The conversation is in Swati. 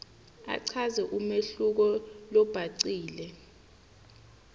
achaze umehluko lobhacile